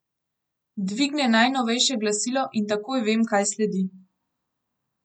Dvigne najnovejše glasilo in takoj vem, kaj sledi.